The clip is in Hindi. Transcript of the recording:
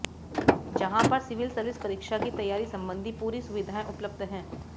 जहां पर सिविल सर्विस परीक्षा की तैयारी संबंधी पूरी सुविधाएं उपलब्ध हैं